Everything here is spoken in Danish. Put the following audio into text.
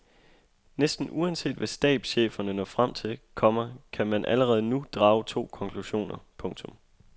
Næsten uanset hvad stabscheferne når frem til, komma kan man allerede nu drage to konklusioner. punktum